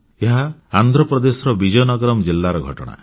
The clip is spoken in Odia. ଏହା ଆନ୍ଧ୍ର ପ୍ରଦେଶର ବିଜୟନଗରମ୍ ଜିଲ୍ଲାର ଘଟଣା